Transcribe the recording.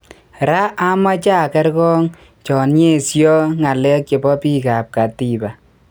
Raa amache angerngoo cho nyeso ngalek chepo pik ap katiba